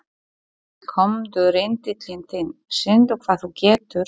Komdu rindillinn þinn, sýndu hvað þú getur.